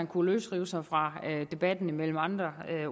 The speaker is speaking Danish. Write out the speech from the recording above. kunne løsrive sig fra debatten med andre